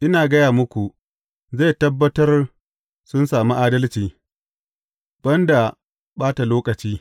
Ina gaya muku, zai tabbatar sun sami adalci, ban da ɓatan lokaci.